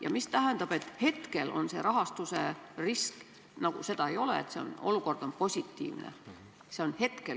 Ja mida tähendab, et hetkel seda rahastusriski nagu ei ole ja et olukord on positiivne?